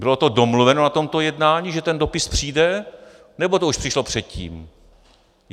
Bylo to domluveno na tomto jednání, že ten dopis přijde, nebo to už přišlo předtím?